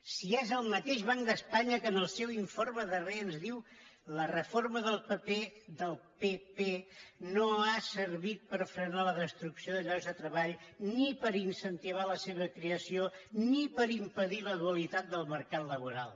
si és el mateix banc d’espanya que en el seu informe darrer ens diu la reforma del pp no ha servit per frenar la destrucció de llocs de treball ni per incentivar la seva creació ni per impedir la dualitat del mercat laboral